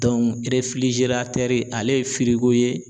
ale ye ye